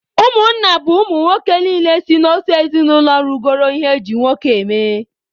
Ụmụnna bụ ụmụ nwoke niile si n'otu ezinụlọ rugoro ihe eji nwoke eme